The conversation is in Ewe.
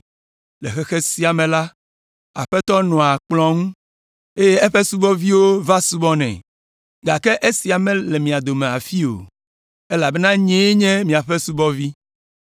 Le xexea me la, aƒetɔ nɔa kplɔ̃ ŋu, eye eƒe subɔviwo va subɔnɛ. Gake esia mele mia dome le afii o! Elabena nyee nye miaƒe subɔvi.